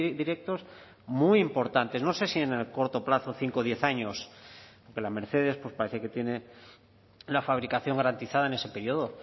directos muy importantes no sé si en el corto plazo de cinco o diez años pero la mercedes parece que tiene la fabricación garantizada en ese periodo